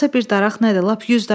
Yoxsa bircə daraq nədir?